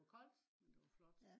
det var koldt men det var flot